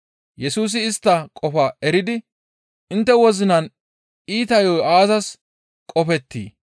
Yesusi istta qofaa eridi, «Intte wozinan iita yo7o aazas qoppeetii?